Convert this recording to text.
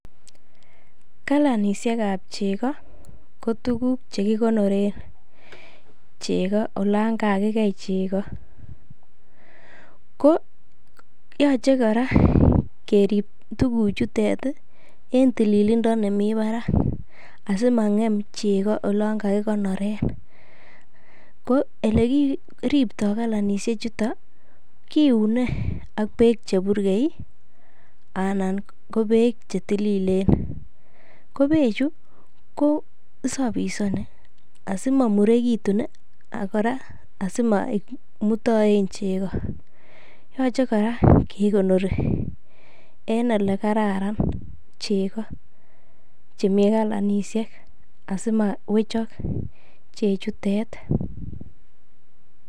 Kalanishek ab chego ko tuguk che kigonorek chego olon kakigei chego. Ko yoche kora kerib tuguchutet en tililindo nemi barak asimang'em chego oln kagikonoren. Ko ole kiripto kalanishek chuto. Kiune ak beek che burgei, anan ko beek che tililen. Ko beechu kosafishani asimomurekitun kora asimamutaen chego yoche kora kekonori en ole kararan chego chemi kalanisiek asimawechok chechutet.